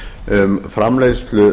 um framleiðslu